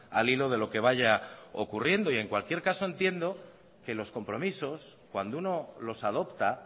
al hilo de lo que vaya ocurriendo en cualquier caso entiendo que los compromisos cuando uno los adopta